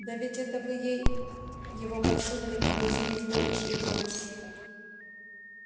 да ведь это вы ей его подсунули в магазине флориш и блоттс